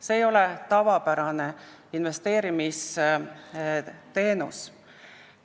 See ei ole tavapärane investeerimisteenus.